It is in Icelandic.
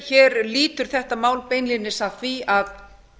hér lýtur þetta mál beinlínis að því að